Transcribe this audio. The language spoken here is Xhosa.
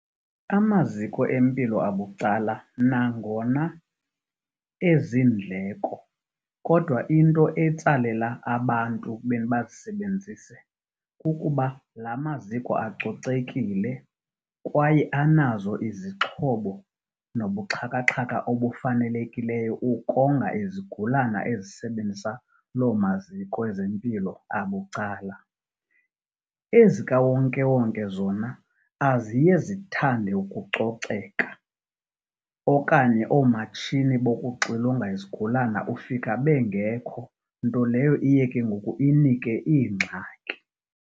Amaziko empilo abucala nangona ezindleko kodwa into etsalela abantu ekubeni bazisebenzise kukuba la maziko acocekile kwaye anazo izixhobo nobuxhakaxhaka obufanelekileyo ukonga izigulane ezisebenzisa loo maziko ezempilo abucala. Ezikawonkewonke zona aziye zithande ukucoceka, okanye oomatshini bokuxilonga izigulana ufika bengeko. Nto leyo ke ngoku iye inike iingxaki.